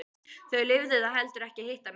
Þau lifðu það heldur ekki að hitta mig.